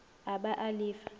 a ba a le fa